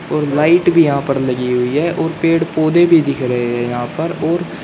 और लाइट भी यहां पर लगी हुई है और पेड़ पौधे भी दिख रहे हैं यहां पर और--